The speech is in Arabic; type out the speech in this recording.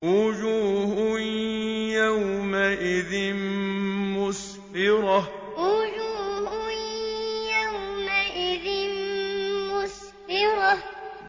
وُجُوهٌ يَوْمَئِذٍ مُّسْفِرَةٌ وُجُوهٌ يَوْمَئِذٍ مُّسْفِرَةٌ